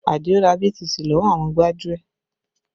Adio ra BTC lọ́wọ́ àwọn gbájúẹ̀